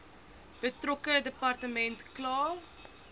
betrokke departement kla